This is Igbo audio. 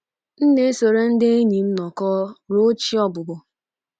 M na-esoro ndị enyi m nọkọọ ruo chi ọbụbọ.